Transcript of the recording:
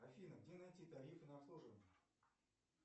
афина где найти тарифы на обслуживание